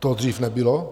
To dřív nebylo.